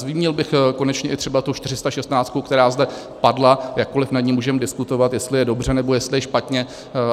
Zmínil bych konečně i třeba tu 416, která zde padla, jakkoli nad ní můžeme diskutovat, jestli je dobře, nebo jestli je špatně.